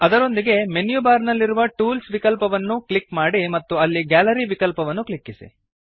ಅದರೊಂದಿಗೆ menu bar ನಲ್ಲಿರುವ tools ವಿಕಲ್ಪವನ್ನು ಅನ್ನು ಕ್ಲಿಕ್ ಮಾಡಿ ಮತ್ತು ಅಲ್ಲಿ ಗ್ಯಾಲರಿ ವಿಕಲ್ಪವನ್ನು ಕ್ಲಿಕ್ಕಿಸಿ